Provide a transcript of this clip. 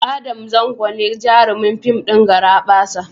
Adam Zango ne jarumin fim ɗin "Garabasa".